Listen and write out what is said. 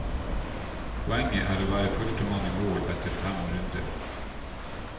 Poenget er å være førstemann i mål etter fem runder.